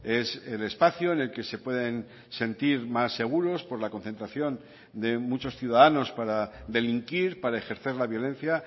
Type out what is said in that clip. es el espacio en el que se pueden sentir más seguros por la concentración de muchos ciudadanos para delinquir para ejercer la violencia